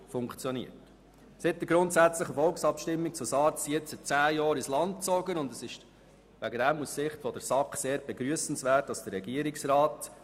Seit der Volksabstimmung zu SARZ sind nun zehn Jahre ins Land gezogen, und die SAK begrüsst sehr, dass der Regierungsrat eine Überprüfung der SARZ-Strategie in Auftrag gegeben hat.